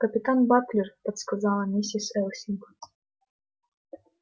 капитан батлер подсказала миссис элсинг